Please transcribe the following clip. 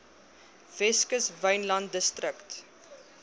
weskus wynland distrik